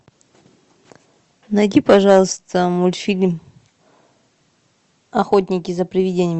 найди пожалуйста мультфильм охотники за привидениями